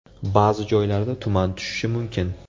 Ba’zi joylarda tuman tushishi mumkin.